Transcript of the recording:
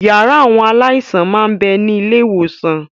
Yàrá àwọn aláìsàn máa ń bẹni ilé ìwòsàn